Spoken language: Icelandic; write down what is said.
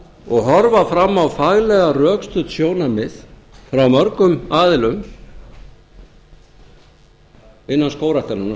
og horfa fram á faglega rökstudd sjónarmið frá mörgum aðilum innan skógræktarinnar